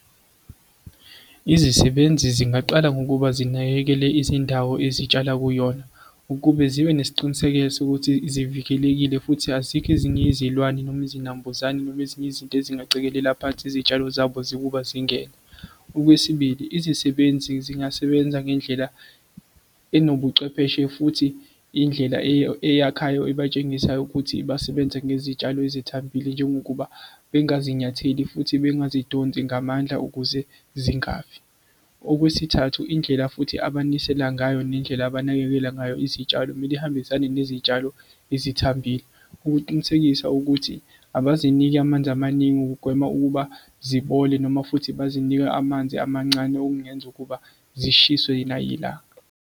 Izisebenzi zingaqala ngokuba zinakekele izindawo ezitshala kuyona ukube zibe nesiqiniseko sokuthi sivikelekile futhi azikho ezinye izilwane noma izinambuzane noma ezinye izinto ezingaceliwe la phansi izitshalo zabo zokuba zingene. Okwesibili, izisebenzi zingasebenza ngendlela enobuchwepheshe futhi indlela eyakhayo ebatshengisa ukuthi basebenze ngezitshalo ezithambile, njengokuba bengazinyatheli futhi bengazidonsi ngamandla ukuze zingafi. Okwesithathu, indlela futhi abanisela ngayo nendlela abanakekela ngayo izitshalo kumele ihambisane nezitshalo ezithambile ukuqinisekisa ukuthi abaziniki amanzi amaningi ukugwema ukuba zibole, noma futhi bazinike amanzi amancane okungenza ukuba zishiswe nayilanga.